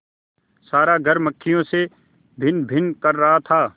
सारा घर मक्खियों से भनभन कर रहा था